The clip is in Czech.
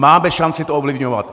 Máme šanci to ovlivňovat!